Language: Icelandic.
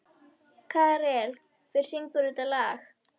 Karel, hver syngur þetta lag?